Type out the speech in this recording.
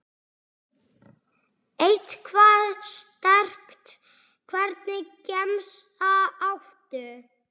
Eitthvað sterkt Hvernig gemsa áttu?